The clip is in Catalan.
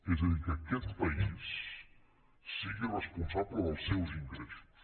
és a dir que aquest país sigui responsable dels seus ingressos